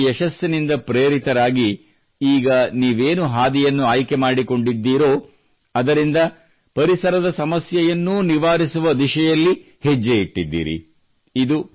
ಹಾಗೂ ಆ ಯಶಸ್ಸಿನಿಂದ ತೃಪ್ತರಾಗಿ ಈಗ ನೀವೇನು ಹಾದಿಯನ್ನು ಆಯ್ಕೆ ಮಾಡಿಕೊಂಡಿದ್ದೀರೋ ಅದರಿಂದ ಪರಿಸರದ ಸಮಸ್ಯೆಯನ್ನೂ ನಿವಾರಿಸುವ ದಿಶೆಯಲ್ಲಿ ಹೆಜ್ಜೆ ಇಟ್ಟಿದ್ದೀರಿ